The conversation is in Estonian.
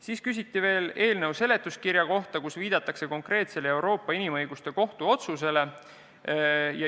Veel küsiti eelnõu seletuskirja kohta, kus viidatakse konkreetsele Euroopa Inimõiguste Kohtu otsusele.